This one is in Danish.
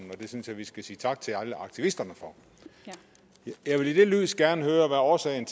det synes jeg vi skal sige tak til alle aktivisterne for jeg vil i det lys gerne høre hvad årsagen